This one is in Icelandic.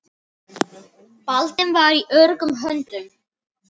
Baldvin var í öruggum höndum.